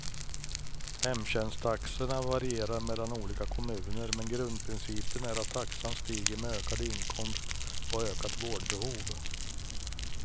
Hemtjänsttaxorna varierar mellan olika kommuner, men grundprincipen är att taxan stiger med ökad inkomst och ökat vårdbehov.